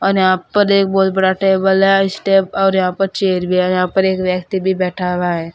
यहाँ पर एक बहुत बड़ा टेबल है इस टे और यहां पर चेयर भी है यहां पर एक व्यक्ति भी बैठा हुआ है।